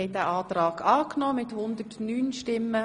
062-2017 Motion 20.03.2017 EVP (Schnegg, Lyss)